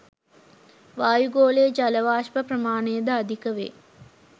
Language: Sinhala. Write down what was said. වායුගෝලයේ ජල වාෂ්ප ප්‍රමාණය ද අධික වේ